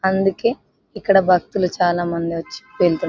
అందుకే ఇక్కడ భక్తులు చాలామంది వచ్చి వెళ్తు --